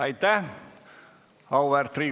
Aitäh!